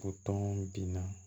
O tɔn bin na